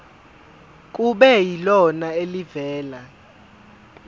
kube yilona elivela